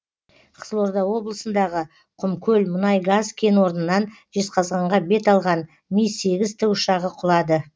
қызылорда облысындағы құмкөл мұнай газ кен орнынан жезқазғанға бет алған ми сегіз тікұшағы құлады